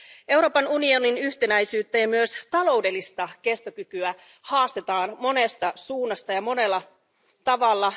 Euroopan unionin yhtenäisyyttä ja myös taloudellista kestokykyä haastetaan monesta suunnasta ja monella tavalla.